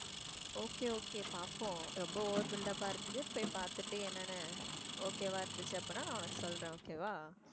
okay okay பாப்போம் ரொம்ப over build up ஆ இருக்கு போய் பாத்துட்டு என்னென்ன okay வா இருந்துச்சு அப்படின்னா நான் உனக்கு சொல்றேன் okay வா